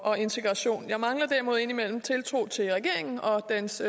og integration jeg mangler derimod indimellem tiltro til regeringen og dens